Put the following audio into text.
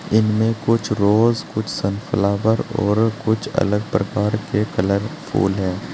इनमें कुछ रोज कुुछ सनफ्लावर और कुछ अलग प्रकार के कलर फुल है।